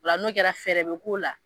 O la n'o kɛra fɛɛrɛ be k'o la.